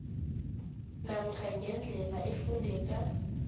namkha ngendlela efundeka